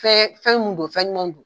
Fɛn fɛn mun don fɛn ɲuman don.